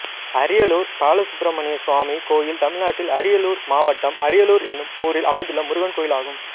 அரியலூர் பாலசுப்ரமணியசுவாமி கோயில் தமிழ்நாட்டில் அரியலூர் மாவட்டம் அரியலூர் என்னும் ஊரில் அமைந்துள்ள முருகன் கோயிலாகும்